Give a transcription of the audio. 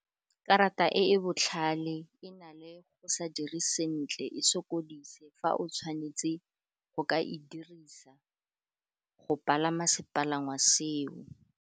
Karata e e botlhale e na le go sa dire sentle e sokodise fa o tshwanetse go ka e dirisa, go palama sepalangwa seo.